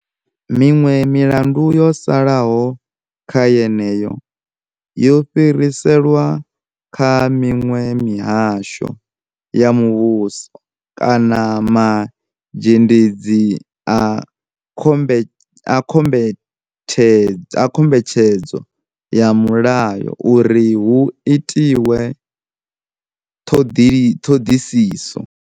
Miṅwe milandu yo salaho kha yeneyo, yo fhiriselwa kha miṅwe mihasho ya muvhuso kana ma zhendedzi a khombethedzo ya mulayo uri hu itwe ṱhoḓisiso.